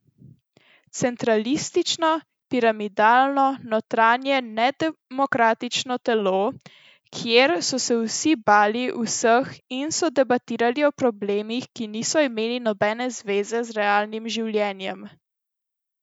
Centralistično, piramidalno, notranje nedemokratično telo, kjer so se vsi bali vseh in so debatirali o problemih, ki niso imeli nobene zveze z realnim življenjem.